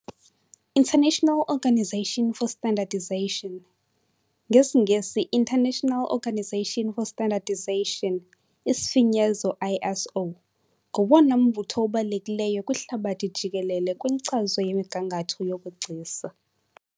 International Organization for Standardization, ngesiNgesi "International Organisation for Standardization", isifinyezo ISO, ngowona mbutho ubalulekileyo kwihlabathi jikelele kwinkcazo yemigangatho yobugcisa.